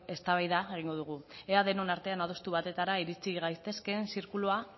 eztabaida egingo dugu ea denon artean adostu batetara iritsi gaitezkeen zirkulua